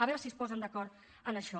a veure si es posen d’acord en això